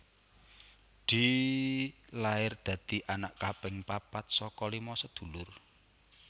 Dee lair dadi anak kaping papat saka lima sedulur